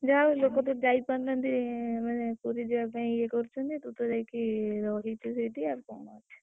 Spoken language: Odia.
ଯା ହଉ ଲୋକ ତ ଯାଇ ପାରୁନାହାନ୍ତି ମାନେ ପୁରୀ ଯିବା ପାଇଁ ଇଏ କରୁଛନ୍ତି, ତୁ ତ ଯାଇକି ରହିଛୁ ସେଇଠି ଆଉ କଣ ଅଛି?